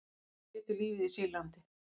Tveir létu lífið í Sýrlandi